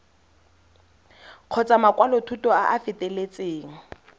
kgotsa makwalothuto a a feteletseng